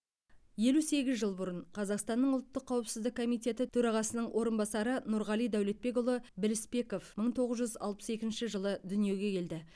елу сегіз жыл бұрын қазақстанның ұлттық қауіпсіздік комитеті төрағасының орынбасары нұрғали дәулетбекұлы білісбеков мың тоғыз жүз алпыс екінші жылы дүниеге келді